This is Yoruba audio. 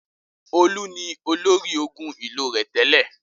Olú ni olórí ogun ìlú rẹ̀ tẹ́lẹ̀.